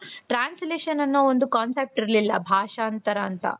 translation ಅನ್ನೋ ಒಂದು concept ಇರ್ಲಿಲ್ಲ ಭಾಷಾಂತರ ಅಂತ